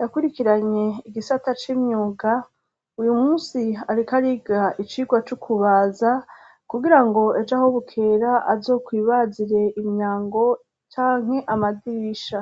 yakurikiranywe igisata c'imyuga uyu munsi ariko ariga icigwa c'ukubaza kugira ngo ejo aho bukera azokwibazire imyango cyanke amadirisha